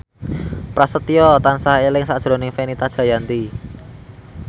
Prasetyo tansah eling sakjroning Fenita Jayanti